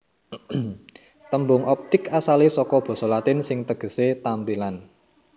Tembung optik asalé saka basa Latin sing tegesé tampilan